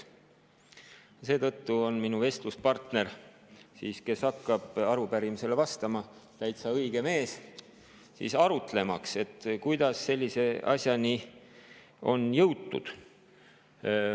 Ja seetõttu on minu vestluspartner, kes hakkab arupärimisele vastama, täitsa õige mees arutlemaks, kuidas sellise asjani on jõutud.